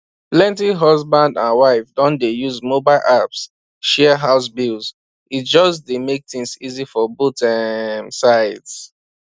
plenty husband and wife don dey use mobile apps share house bills e just make things easy for both um sides